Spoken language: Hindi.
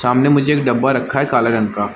सामने में जो एक डब्बा रखा है काले रंग का--